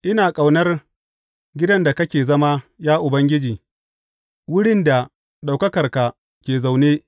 Ina ƙaunar gidan da kake zama, ya Ubangiji, wurin da ɗaukakarka ke zaune.